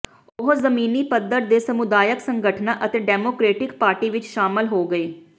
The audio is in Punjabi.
ਉਹ ਜ਼ਮੀਨੀ ਪੱਧਰ ਦੇ ਸਮੁਦਾਇਕ ਸੰਗਠਨਾਂ ਅਤੇ ਡੈਮੋਕਰੇਟਿਕ ਪਾਰਟੀ ਵਿਚ ਸ਼ਾਮਲ ਹੋ ਗਈ